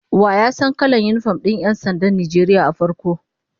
Wa ya san kalan yinifom din 'yan sandan Najeriya a farko?